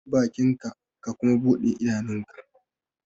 Rufe bakinka ka kuma bude idanunka!